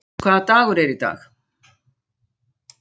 Mardís, hvaða dagur er í dag?